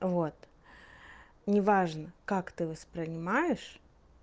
вот неважно как ты воспринимаешь